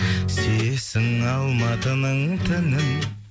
сүйесің алматының түнін